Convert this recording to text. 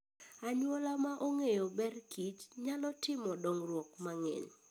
Anyuola maong'eyo berkich nyalo timo dongruok mang'eny.